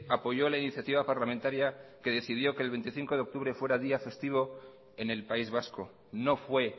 apoyó la iniciativa parlamentaria que decidió que el veinticinco de octubre fuera día festivo en el país vasco no fue